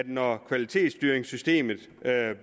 når kvalitetsstyringssystemet